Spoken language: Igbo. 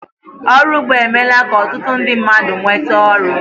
Ọrụ ugbo emeela ka ọtụtụ ndị mmadụ nweta oru